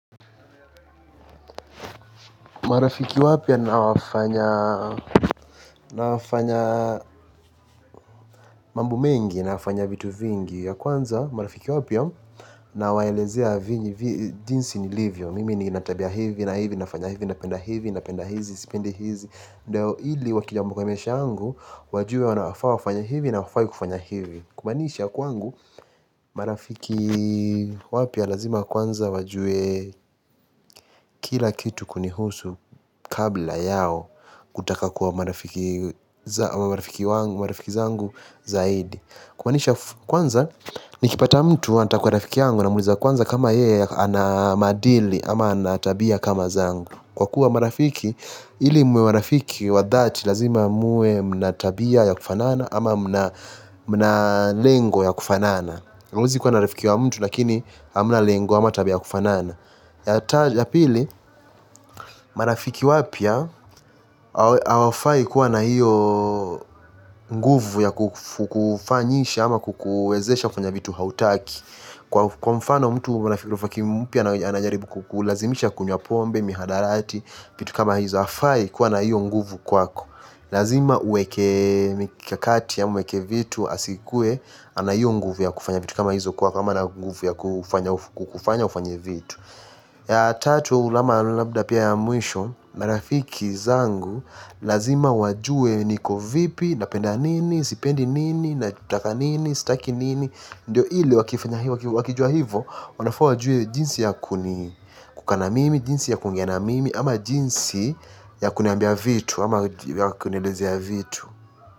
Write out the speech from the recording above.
Marafiki wapia nawafanya mambo mengi nawafanya vitu vingi ya kwanza marafiki wapia na waelezea vini jinsi nilivyo. Mimi ni natabia hivi na hivi na fanya hivi na penda hivi na penda hizi na penda hizi na penda hizi na ili wakijamu kamesha angu. Wajue wana wafaa wafanya hivi na wafaa kufanya hivi. Kumanisha kwangu marafiki wapia lazima kwanza wajue kila kitu kunihusu kabla yao kutaka kuwa marafiki zangu zaidi. Kumanisha kwanza nikipata mtu wanata kwa rafiki yangu namuliza kwanza kama yeye anamadili ama anatabia kama zangu. Kwa kuwa marafiki, hili muwe marafiki wa dhati lazima muwe mna tabia ya kufanana ama mna lengo ya kufanana. Uzi kuwa na rafiki wa mtu lakini hamna lengo ama tabia ya kufanana. Ya pili, marafiki wapia awafai kuwa na hiyo nguvu ya kufanyisha ama kukuezesha kwenye vitu hautaki. Kwa mfano mtu ana rafiki mpya anajaribu kukulazimisha kunywa pombe, mihadarati, vitu kama hizo hafai kuwa na hiyo nguvu kwako. Lazima uweke mikakati ama vitu asikuwe ana hiyo nguvu ya kufanya vitu kama hizo kwako kama na nguvu ya kufanya ufanya vitu. Ya tatu ama labda pia ya mwisho, marafiki zangu lazima wajue niko vipi, napenda nini, sipendi nini, natutaka nini, sitaki nini. Ndio ili wakijua hivo wanafaa wajue jinsi ya kuni kukaa na mimi, jinsi ya kuongea na mimi ama jinsi ya kuniambia vitu ama ya kuniileze ya vitu.